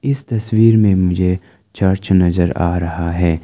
इस तस्वीर में मुझे चर्च नजर आ रहा है।